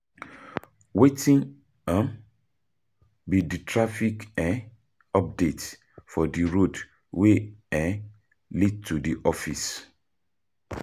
Wetin be di traffic updates for di road wey lead to di office?